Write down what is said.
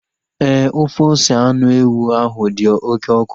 Éè, ofe ose anụ ewu ahu dị oké ọkụ